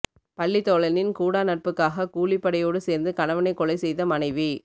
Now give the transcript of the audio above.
பள்ளி தோழனின் கூடாநட்புக்காக கூலிபடையோடு சேர்ந்து கணவனை கொலை செய்த மனைவி